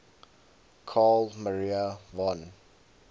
carl maria von